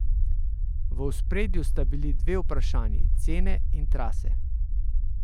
V ospredju sta bili vprašanji cene in trase.